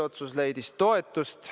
Otsus leidis toetust.